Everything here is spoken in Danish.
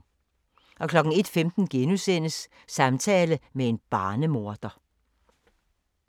01:15: Samtale med en barnemorder *